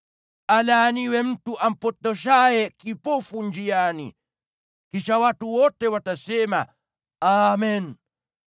“Alaaniwe mtu ampotoshaye kipofu njiani.” Kisha watu wote watasema, “Amen!”